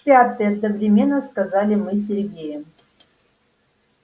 в пятый одновременно сказали мы с сергеем